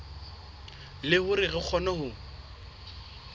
le hore re kgone ho